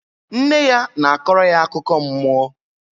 Nne ya na-akọrọ ya akụkọ mmụọ